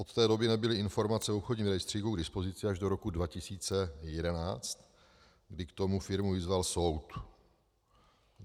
Od té doby nebyly informace v obchodním rejstříku k dispozici až do roku 2011, kdy k tomu firmu vyzval soud.